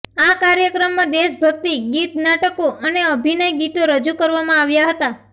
આ કાર્યક્રમમાં દેશભક્તિ ગીત નાટકો અને અભિનય ગીતો રજૂ કરવામાં આવ્યા હતા